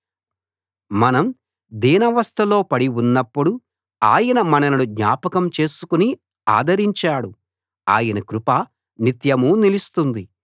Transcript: మనం దీనావస్థలో పడి ఉన్నప్పుడు ఆయన మనలను జ్ఞాపకం చేసుకుని ఆదరించాడు ఆయన కృప నిత్యమూ నిలుస్తుంది